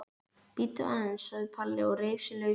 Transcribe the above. Bíddu aðeins sagði Palli og reif sig lausan.